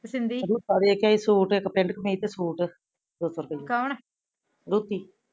ਸ਼ਿੰਦੀ ਤੁਪਾ ਵੇਖ ਕੇ ਸੁਟ ਇਕ ਪੇਂਟ ਕਮੀਜ ਤੇ ਸੂਟ ਕੋਣ ਲੋਕੀ